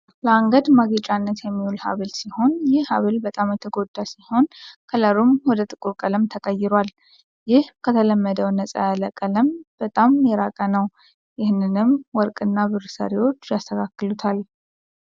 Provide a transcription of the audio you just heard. ለአንገት ማጌጫነት የሚውል ሃብል ሲሆን ይህ ሃብል በጣም የተጎዳ ሲሆን ከለሩም ወደ ጥቁር ቀለም ተቀይሯል ።ይህ ከተለመደው ነፃ ያለ ቀለም በጣም የራቀ ነው። ይህንንም ወርቅና ብር ሰሪዎች የአስተካክሉታል።